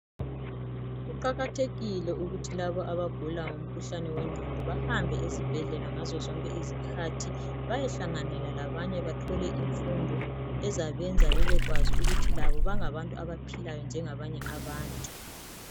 Kuqakathekile ukuthi labo abagula ngomkhuhlane wengqondo bahambe ezibhedlela ngazo zonke izikhathi bayehlanganela labanye bathole imfundo ezabenza bebekwazi ukuthi labo bangabantu abaphilayo njengabanye abantu.